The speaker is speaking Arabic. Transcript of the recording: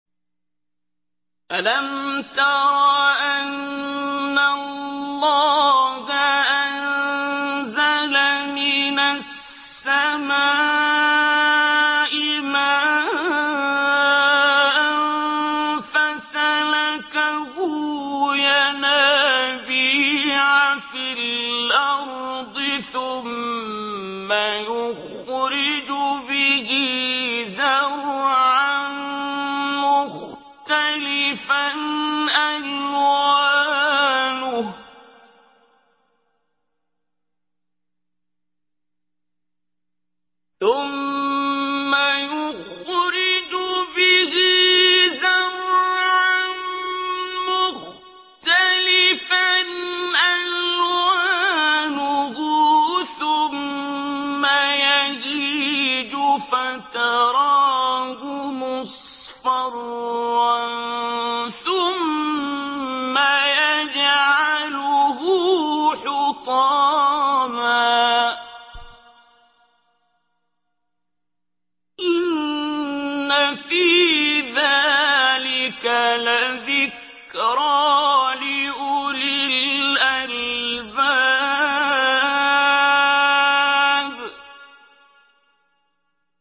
أَلَمْ تَرَ أَنَّ اللَّهَ أَنزَلَ مِنَ السَّمَاءِ مَاءً فَسَلَكَهُ يَنَابِيعَ فِي الْأَرْضِ ثُمَّ يُخْرِجُ بِهِ زَرْعًا مُّخْتَلِفًا أَلْوَانُهُ ثُمَّ يَهِيجُ فَتَرَاهُ مُصْفَرًّا ثُمَّ يَجْعَلُهُ حُطَامًا ۚ إِنَّ فِي ذَٰلِكَ لَذِكْرَىٰ لِأُولِي الْأَلْبَابِ